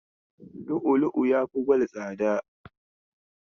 Lu'ulu'u yafi gwal tsada.